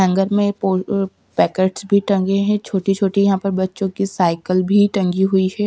Hanger में packets भी टंगे हैं छोटी-छोटी यहां पर बच्चों की साइकिल भी टंगी हुई है ।